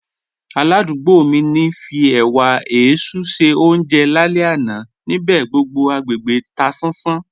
Álàdùúgbò mi ń fí ẹ̀wà èéṣú ṣe ọúnjẹ láàlẹ́ àná, níbẹ̀ gbogbo agbegbé tà sán sán.